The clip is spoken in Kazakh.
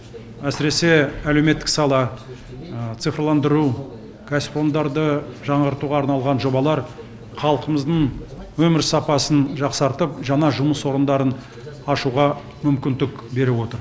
әсіресе әлеуметтік сала цифрландыру кәсіпорындарды жаңғыртуға арналған жобалар халқымыздың өмір сапасын жақсартып жаңа жұмыс орындарын ашуға мүмкіндік беріп отыр